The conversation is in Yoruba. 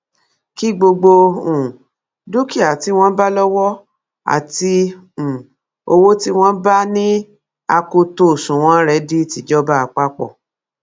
kí gbogbo um dúkìá tí wọn bá lówó àti um owó tí wọn bá ní akoto òṣùnwọn rẹ di tìjọba àpapọ